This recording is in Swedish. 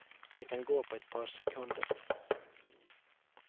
Det kan gå på ett par sekunder.